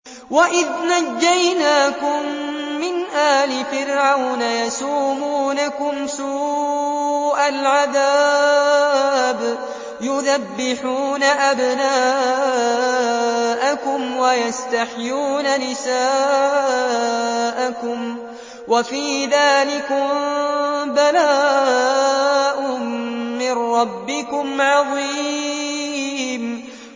وَإِذْ نَجَّيْنَاكُم مِّنْ آلِ فِرْعَوْنَ يَسُومُونَكُمْ سُوءَ الْعَذَابِ يُذَبِّحُونَ أَبْنَاءَكُمْ وَيَسْتَحْيُونَ نِسَاءَكُمْ ۚ وَفِي ذَٰلِكُم بَلَاءٌ مِّن رَّبِّكُمْ عَظِيمٌ